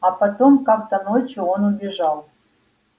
а потом как-то ночью он убежал